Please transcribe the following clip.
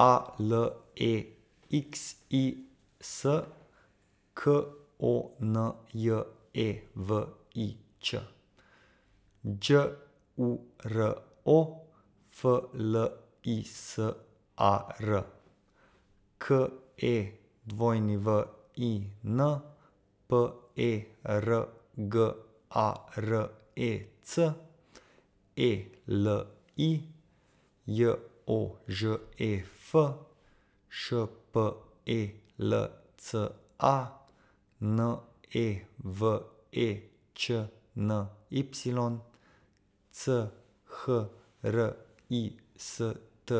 A L E X I S, K O N J E V I Č; Đ U R O, F L I S A R; K E W I N, P E R G A R E C; E L I, J O Ž E F; Š P E L C A, N E V E Č N Y; C H R I S T